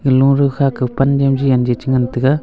loru kha ke pan niam che jen che ngan taiga.